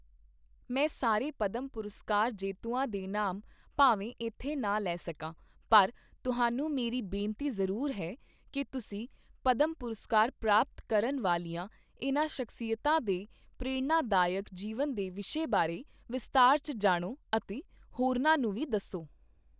ਮੈਂ ਸਾਰੇ ਪਡੈਮਪੁਰਸਕਾਰ ਜੇਤੂਆਂ ਦੇ ਨਾਮ ਭਾਵੇਂ ਇੱਥੇ ਨਾ ਲੈ ਸਕਾਂ ਪਰ ਤੁਹਾਨੂੰ ਮੇਰੀ ਬੇਨਤੀ ਜ਼ਰੂਰ ਹੈ ਕੀ ਤੁਸੀਂ ਪਡੈਮਪੁਰਸਕਾਰ ਪ੍ਰਾਪਤ ਕਰਨ ਵਾਲੀਆਂ ਇਨ੍ਹਾਂ ਸ਼ਖ਼ਸੀਅਤਾਂ ਦੇ ਪ੍ਰੇਰਣਾਦਾਇਕ ਜੀਵਨ ਦੇ ਵਿਸ਼ੇ ਬਾਰੇ ਵਿਸਤਾਰ ਚ ਜਾਣੋ ਅਤੇ ਹੋਰਨਾਂ ਨੂੰ ਵੀ ਦੱਸੋ।